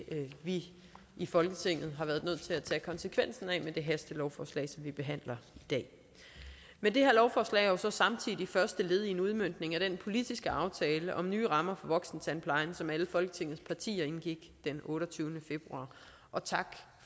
vi i folketinget har været nødt til at tage konsekvensen af med det hastelovforslag som vi behandler i dag men det her lovforslag er jo så samtidig første led i en udmøntning af den politiske aftale om nye rammer for voksentandplejen som alle folketingets partier indgik den otteogtyvende februar og tak